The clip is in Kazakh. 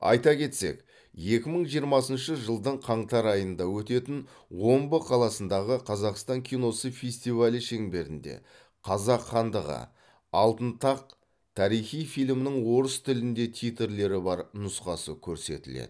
айта кетсек екі мың жиырмасыншы жылдың қаңтар айында өтетін омбы қаласындағы қазақстан киносы фестивалі шеңберінде қазақ хандығы алтын тақ тарихи фильмінің орыс тілінде титрлері бар нұсқасы көрсетіледі